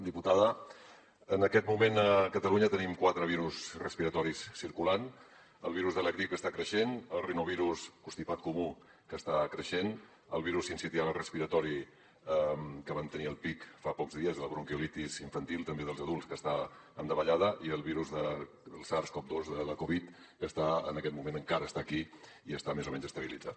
diputada en aquest moment a catalunya tenim quatre virus respiratoris circulant el virus de la grip que està creixent el rinovirus constipat comú que està creixent el virus sincicial respiratori que vam tenir el pic fa pocs dies la bronquiolitis infantil i també dels adults que està en davallada i el virus del sars cov dos de la covid que en aquest moment encara està aquí i està més o menys estabilitzat